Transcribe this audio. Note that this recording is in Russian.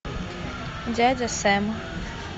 дядя сэм